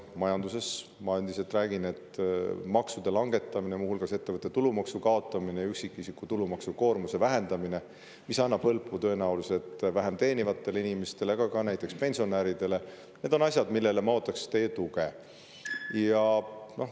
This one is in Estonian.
Majandusest rääkides ütlen ma endiselt, et maksude langetamine, muu hulgas ettevõtte tulumaksu kaotamine ja üksikisiku tulumaksukoormuse vähendamine, mis annab tõenäoliselt hõlpu vähem teenivatele inimestele, aga ka näiteks pensionäridele, on need asjad, millele ma ootaks teie tuge.